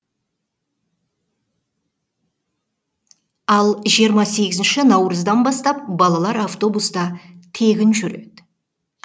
ал жиырма сегізінші наурыздан бастап балалар автобуста тегін жүреді